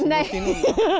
nei